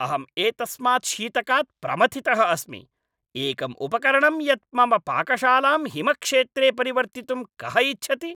अहम् एतस्मात् शीतकात् प्रमथितः अस्मि। एकम् उपकरणं यत् मम पाकशालां हिमक्षेत्रे परिवर्तितुं कः इच्छति?